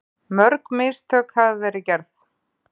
Mörg mistök hafa verið gerð